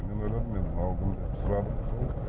мен ойладым енді мынау кім деп сұрадым